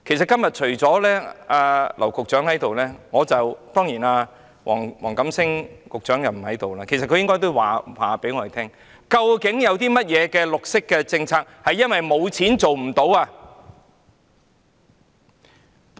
今天只有劉局長在席，黃錦星局長並不在席，其實黃局長應告訴我們有哪些綠色政策是因為沒有資金而無法推行的。